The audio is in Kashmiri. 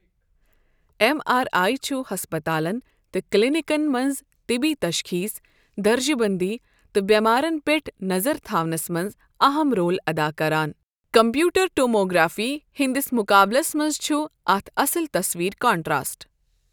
ایم آر ای چھُ ہَسپتالَن تہٕ کِلنِکَن مَنٛز طِبی تَشخیٖص، درجہٕ بَندی تہٕ بؠماریَن پؠٹھ نَظر تھاونَس مَنٛز اہم رول ادا کرن کَمپیوٹِڑ ٹوموگرٛافی ہٕندِس مُقابلَس مَنٛز چھُ اَتھ اَصٕل تَصویر کَنٹراسٹ۔